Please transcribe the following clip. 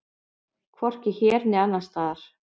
Hvorki hér né annars staðar.